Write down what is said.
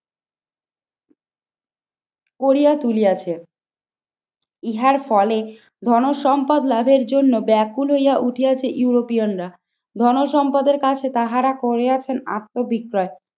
করিয়া তুলিয়াছে। ইহার ফলে ধন সম্পদ লাভের জন্য ব্যাকুল হইয়া উঠে আসে ইউরোপিয়ানরা। ধনসম্পদের কাছে তাহারা করে আছেন আত্মবিক্রয়।